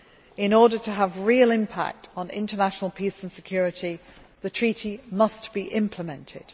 In order to have real impact on international peace and security, the treaty must be implemented.